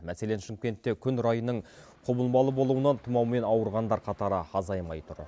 мәселен шымкентте күн райының құбылмалы болуынан тұмаумен ауырғандар қатары азаймай тұр